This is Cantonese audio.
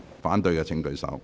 反對的請舉手。